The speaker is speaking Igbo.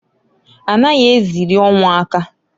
A naghị eziri ọnwụ aka.